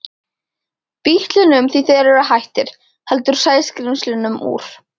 Bítlunum því þeir eru hættir, heldur Sæskrímslunum úr